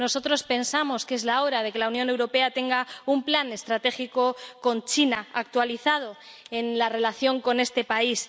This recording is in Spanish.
Nosotros pensamos que es la hora de que la Unión Europea tenga un plan estratégico con China, actualizado, en la relación con este país.